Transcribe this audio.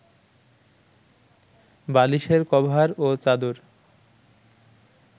বালিশের কভার ও চাদর